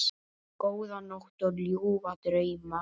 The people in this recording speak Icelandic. Góða nótt og ljúfa drauma.